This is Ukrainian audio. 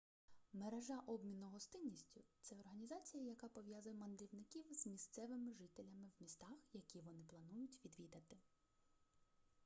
мережа обміну гостинністю це організація яка пов'язує мандрівників з місцевими жителями в містах які вони планують відвідати